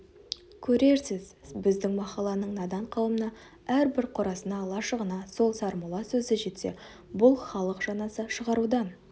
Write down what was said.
көрерсіз біздің махалланың надан қауымына әрбір қорасына лашығына сол сармолла сөзі жетсе бұл халық жаназа шығарудан